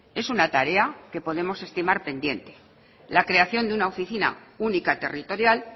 es una tarea que podemos estimar pendiente la creación de una oficina única territorial